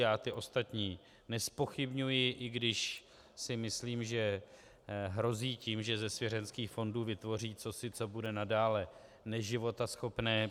Já ty ostatní nezpochybňuji, i když si myslím, že hrozí tím, že ze svěřenských fondů vytvoří cosi, co bude nadále neživotaschopné.